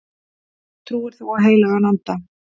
Trúir þú á heilagan anda